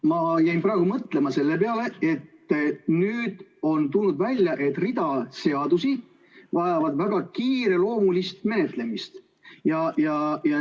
Ma jäin praegu mõtlema selle peale, et nüüd on tulnud välja, et rida seadusi vajab väga kiireloomulist menetlemist.